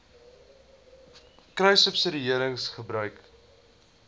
kruissubsidiëringgebruik